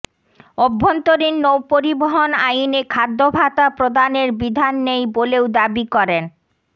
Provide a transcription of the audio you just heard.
অভ্যন্তরীণ নৌপরিবহন আইনে খাদ্যভাতা প্রদানের বিধান নেই বলেও দাবি করেন